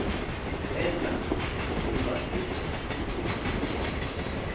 entla nokuba se